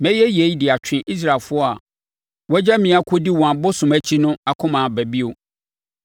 Mɛyɛ yei de atwe Israelfoɔ a wɔagya me akɔdi wɔn abosom akyi no akoma aba bio.’